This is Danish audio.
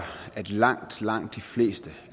langt langt de fleste